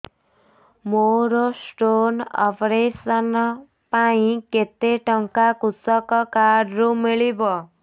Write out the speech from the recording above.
ମୋର stone operation ପାଇଁ କେତେ ଟଙ୍କା କୃଷକ କାର୍ଡ ରୁ ମିଳିବ